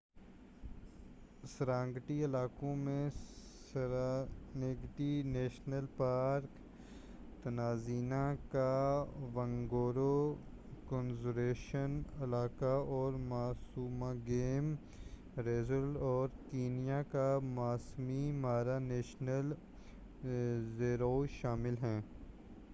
Serengeti علاقوں میں Serengeti national park Tanzania کا ونگورو کنزرویشن علاقہ اور ماسوا گیم ریزرو اور کینیا کا ماسائی مارا نیشنل ریزرو شامل ہیں